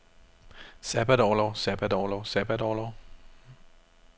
sabbatorlov sabbatorlov sabbatorlov